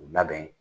U labɛn